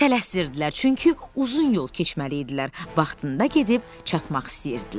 Tələsirdilər, çünki uzun yol keçməli idilər, vaxtında gedib çatmaq istəyirdilər.